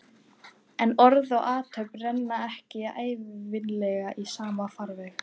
En orð og athöfn renna ekki ævinlega í sama farveg.